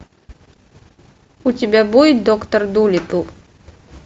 у тебя будет доктор дулиттл